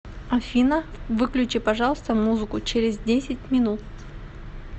афина выключи пожалуйста музыку через десять минут